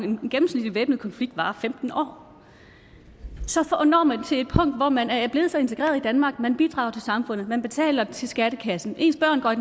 en gennemsnitlig væbnet konflikt varer i femten år så når man til et punkt hvor man er blevet så integreret i danmark man bidrager til samfundet man betaler til skattekassen ens børn går i